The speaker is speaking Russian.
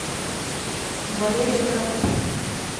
валерия тарабукина